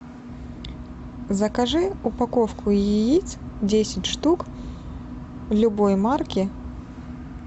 закажи упаковку яиц десять штук любой марки